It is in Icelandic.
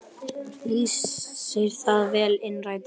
Lýsir það vel innræti hennar.